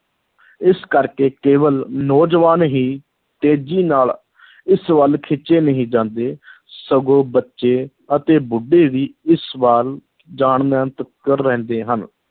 ਇਸ ਕਰਕੇ ਕੇਵਲ ਨੌਜਵਾਨ ਹੀ ਤੇਜ਼ੀ ਨਾਲ ਇਸ ਵੱਲ ਖਿੱਚੇ ਨਹੀਂ ਜਾਂਦੇ ਸਗੋਂ ਬੱਚੇ ਅਤੇ ਬੁੱਢੇ ਵੀ ਇਸ ਵੱਲ ਜਾਣ ਰਹਿੰਦੇ ਹਨ,